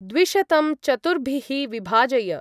द्विशतं चतुर्भिः विभाजय।